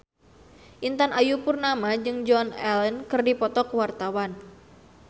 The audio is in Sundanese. Intan Ayu Purnama jeung Joan Allen keur dipoto ku wartawan